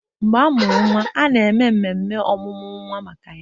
Mgbe amụrụ nwa, a na-eme mmemme ọmụmụ nwa maka ya